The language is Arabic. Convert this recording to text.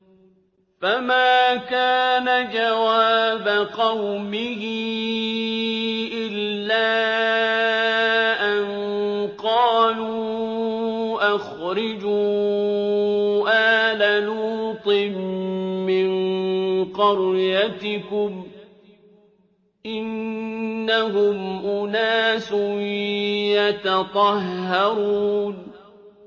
۞ فَمَا كَانَ جَوَابَ قَوْمِهِ إِلَّا أَن قَالُوا أَخْرِجُوا آلَ لُوطٍ مِّن قَرْيَتِكُمْ ۖ إِنَّهُمْ أُنَاسٌ يَتَطَهَّرُونَ